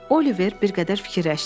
Oliver bir qədər fikirləşdi.